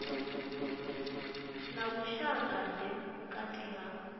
na vhushaka ḓe vhukati ha